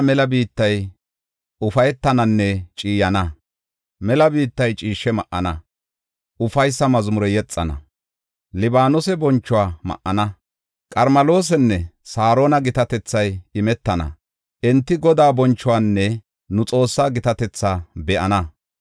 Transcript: Mela biittay ciishshe ma7ana; ufaysa mazmure yexana. Libaanose bonchuwa ma7ana; Qarmeloosanne Saarona gitatethay imetana; enti Godaa bonchuwanne nu Xoossaa gitatetha be7ana.